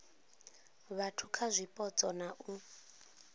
vhathu kha zwipotso na u